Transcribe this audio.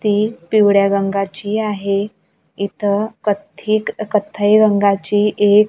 ती पिवळ्या रंगाची आहे इथं कथ्थी कथ्थई रंगाची एक--